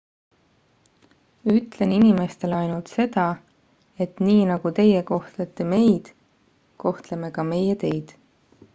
ütlen inimestele ainult seda et nii nagu teie kohtlete meid kohtleme ka meie teid